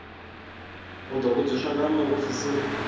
u ḓo vhudziswa nga muofisiri